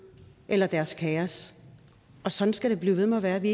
eller deres kæres og sådan skal det blive ved med at være vi